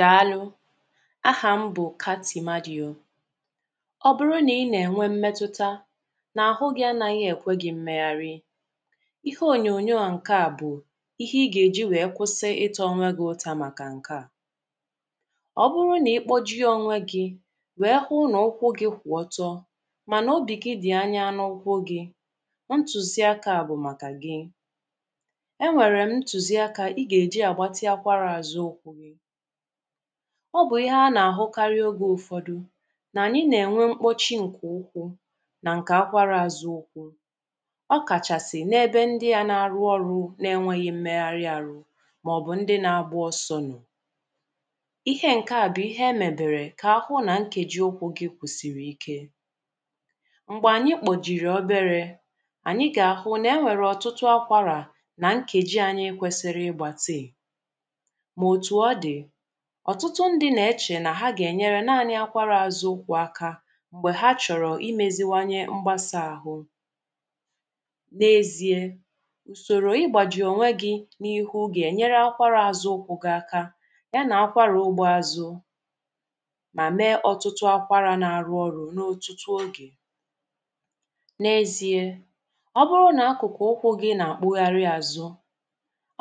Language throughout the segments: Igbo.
Dàalụ, áɦà ḿ bụ Kati Marọ. Ọ bụrụ nà ị nà-ènwe mmetụta nà áhu gɪ̇ anaghị èkwé gɪ̇ emeghari ahụ, ihe ònyonyo a ǹke a, bụ̀ ihe ị gà-èji wèe kwụsị ịtȧ onwe gị̇ ụtȧ. Màkà ǹke a, ọ bụrụ nà ị kpọjie onwe gị̇, wèe hụ n’ụkwụ gị̇ kwụ̀ ọtọ mànà obì gị dị̀ anya n’ụkwụ gị̇, ntùzi akȧ a bụ̀ màkà gị. E nwèrè m ntùzi akȧ ị gà-èji àgbàtịa akwara àzụ ụkwụ gị. Ọ bụ ihe a na-ahụkarị oge ụfọdụ na anyị na-enwe mkpọchi nke ụkwụ na nke akwara azụ ụkwụ. ọ kachasị na ebe ndị a na-arụ ọrụ na-enweghị mmegharị arụ ma ọ bụ ndị na-agba ọsọ nọ. Ihe nke a bụ ihe emebere ka ahụ na nkeji ụkwụ gị kwụsịrị ike. Mgbe anyị kpọjiri oberė, anyị ga-ahụ na e nwere ọtụtụ akwara na nkeji anyị kwesiri igbatịi, ma otu ọdi, ọ̀tụtụ ndị̇ nà-echè nà ha gà-ènyere nȧanị̇ akwarụ àzụ ụkwụ̇ akȧ m̀gbè ha chọ̀rọ̀ imėziwanye mgbasà ahụ. N’ ézi̇ė, ùsòrò ị̀gbàjì ònwe gị̇ n’ ihu gà-ènyere akwara àzụ ụkwụ̇ gị̇ aka, ya nà-akwara ogbe azụ. Mà mee ọtụtụ akwara na-arụ ọrụ̇ n’ otutu oge. N’ ezi̇ė, ọ bụrụ nà akụ̀kụ̀ ụkwụ̇ gị̇ nà-àkpụgharị àzụ,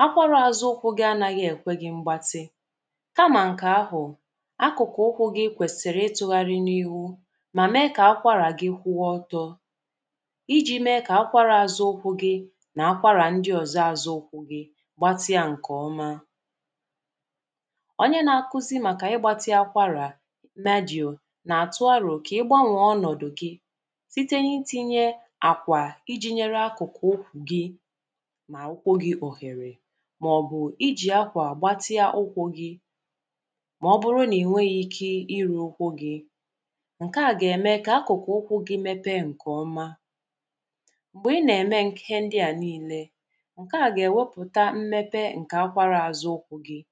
akwara azụ ụkwụ gị anaghị ekwe gị mgbatị, kama nke ahụ, akụkụ ụkwụ gị kwèsìrì ịtụ̇ghari n’ihu mà mee kà akwara gị kwụọ ọtọ, iji̇ mee kà akwarȧ àzụ ụkwụ̇ gị nà akwarà ndị òzò azụ ụkwụ̇ gị gbatịa ǹkè ọma. Onye na-akuzi màkà ịgbȧtịa akwarà Magi̇ȯ nà-àtụ arȯ kà ịgbȧnwè ọnọ̀dụ̀ gị site n’itinye àkwà iji̇ nyere akụkụ̀ ụkwụ̀ gị mà ụkwụ̇ gị òhèrè, màọ̀bụ̀ iji̇ akwà màọbụrụ nà ìnweghì ike iru ụkwụ gị̇, ǹkè a gà-ème kà akụ̀kụ̀ ụkwụ gị mepe ǹkè ọma m̀gbè ị nà-ème ihe ndịà niilė ǹkè a gà-èwepùta mmepe ǹkè akwara àzụ ụkwụ̇ gị̇